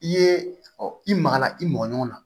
I ye i magara i mɔgɔ ɲɔgɔn na